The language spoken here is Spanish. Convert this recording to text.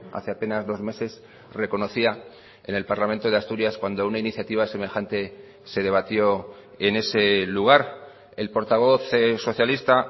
hace apenas dos meses reconocía en el parlamento de asturias cuando una iniciativa semejante se debatió en ese lugar el portavoz socialista